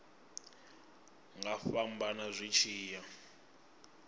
nga fhambana zwi tshi ya